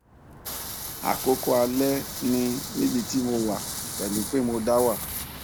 àkókò alẹ ni níbi tí mo wà pẹlú pé mo da wà